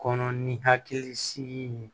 Kɔnɔ ni hakili sigi ye